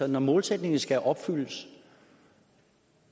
når målsætningen skal opfyldes